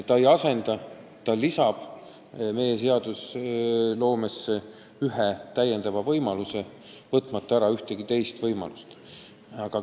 Ta ei asenda midagi, ta lisab meie seadustesse ühe täiendava võimaluse, võtmata ära ühtegi teist võimalust.